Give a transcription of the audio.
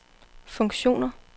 funktioner